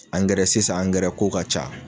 Angɛrɛ sisan angɛrɛ ko ka ca